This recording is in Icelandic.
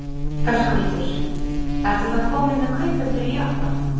Höskuldur: Ertu þá kominn með kaupendur í Japan?